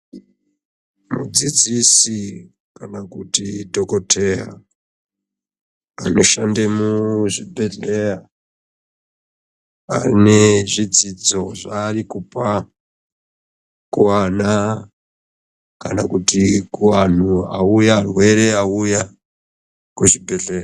Mudzidzisi kana kuti dhokodheya anoshande muzvibhehleya ane zvidzidzo zvaari kupa kuana kana kuti arwere auya kuzvibhehleya.